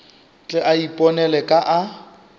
tle a iponele ka a